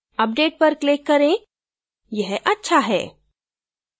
update पर click करें यह अच्छा है